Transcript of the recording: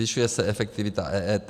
Zvyšuje se efektivita EET.